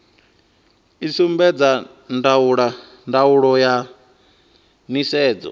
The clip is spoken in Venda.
i sumbedza ndaulo ya nisedzo